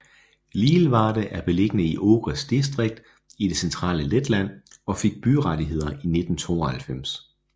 Lielvārde er beliggende i Ogres distrikt i det centrale Letland og fik byrettigheder i 1992